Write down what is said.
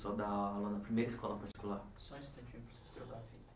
dar aula na primeira escola particular? Só um instantinho, eu preciso trocar a fita